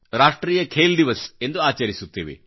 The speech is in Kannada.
ರಾಷ್ಟ್ರೀಯ ಖೇಲ್ ದಿವಸ್ ಎಂದು ಆಚರಿಸುತ್ತೇವೆ